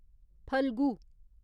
Phalgu